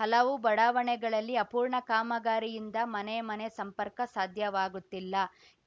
ಹಲವು ಬಡಾವಣೆಗಳಲ್ಲಿ ಅಪೂರ್ಣ ಕಾಮಗಾರಿಯಿಂದ ಮನೆ ಮನೆ ಸಂಪರ್ಕ ಸಾಧ್ಯವಾಗುತ್ತಿಲ್ಲ